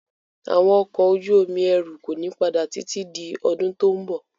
Àwọn ọkọ̀ ojú omi ẹrù kò ní padà títí di ọdún tó ń bọ̀.